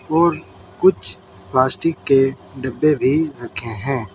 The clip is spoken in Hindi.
और कुछ प्लास्टिक के डब्बे भी रखें हैं।